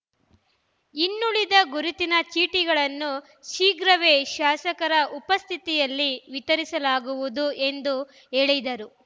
ಇನ್ನೂಳಿದ ಗುರುತಿನ ಚೀಟಿಗಳನ್ನು ಶೀಘ್ರವೇ ಶಾಸಕರ ಉಪಸ್ಥಿಯಲ್ಲಿ ವಿತರಿಸಲಾಗುವುದು ಎಂದು ಹೇಳಿದರು